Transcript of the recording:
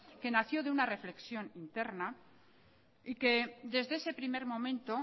que nació de una reflexión interna y que desde ese primer momento